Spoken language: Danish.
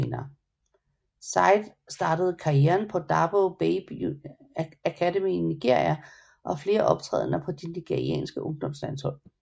Said startede karrieren på Dabo Babe Academy i Nigeria og har flere optrædener på de nigerianske ungdomslandshold